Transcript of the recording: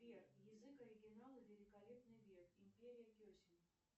сбер язык оригинала великолепный век империя кесем